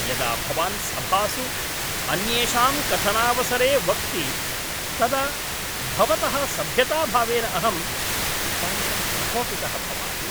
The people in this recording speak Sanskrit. यदा भवान् सभासु अन्येषां कथनावसरे वक्ति तदा भवतः सभ्यताभावेन अहं नितान्तं प्रकोपितः भवामि।